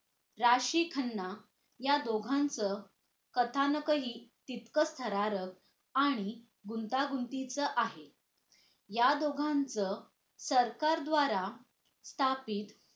राशी खन्ना या दोघांचं कथानकही तितकंच थरारक आणि गुंतागुंतीचं आहे या दोघांच सरकार द्वारा ताकीद